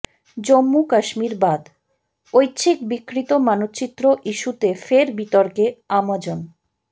জম্মু কাশ্মীর বাদঃ ঐচ্ছিক বিকৃত মানচিত্র ইস্যুতে ফের বিতর্কে আমাজন